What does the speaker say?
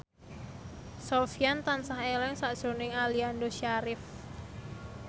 Sofyan tansah eling sakjroning Aliando Syarif